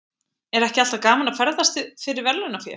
Er ekki alltaf gaman að ferðast fyrir verðlaunafé?